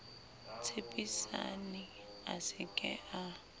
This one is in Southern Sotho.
tshepisane a se ke a